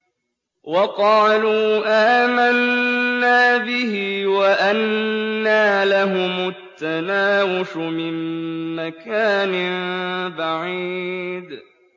وَقَالُوا آمَنَّا بِهِ وَأَنَّىٰ لَهُمُ التَّنَاوُشُ مِن مَّكَانٍ بَعِيدٍ